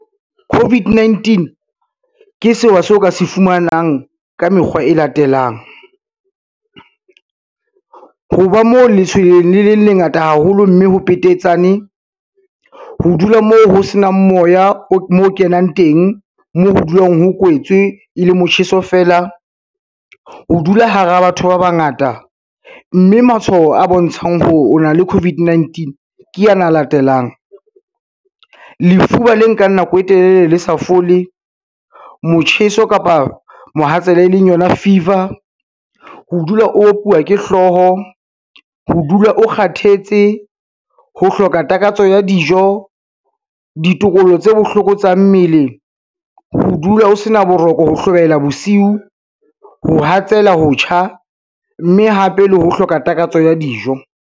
COVID-19, ke sewa seo ka se fumanang ka mekgwa e latelang. Ho ba mo letshwele le le lengata haholo mme ho petetsane, ho dula moo ho senang moya moo kenang teng moo ho dulang ho kwetswe e le motjheso feela, ho dula hara batho ba bangata, mme matshwao a bontshang hore o na le COVID-19 ke ana a latelang. Lefuba le nkang nako e telele le sa fole, motjheso kapa mohatsela e leng yona fever, ho dula o opuwa ke hlooho, ho dula o kgathetse, ho hloka takatso ya dijo, ditokolo tse bohloko tsa mmele, ho dula o sena boroko ho hlobaela bosiu, ho hatsela, ho tjha, mme hape le ho hloka takatso ya dijo.